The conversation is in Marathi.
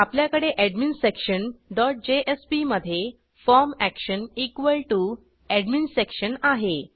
आपल्याकडे एडमिन्सेक्शन डॉट जेएसपी मधे फॉर्म एक्शन एडमिन्सेक्शन आहे